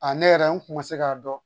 A ne yɛrɛ n kun ma se k'a dɔn